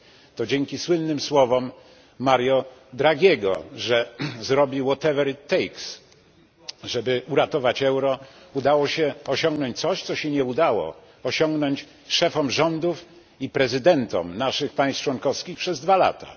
To dzięki słynnym słowom Mario Draghiego, że zrobi żeby uratować euro, udało się osiągnąć coś, czego nie udało się osiągnąć szefom rządów i prezydentom państw członkowskich przez dwa lata.